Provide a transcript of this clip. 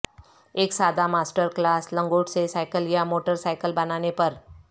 ایک سادہ master class لنگوٹ سے سائیکل یا موٹر سائیکل بنانے پر